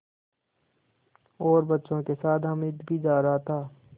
और बच्चों के साथ हामिद भी जा रहा था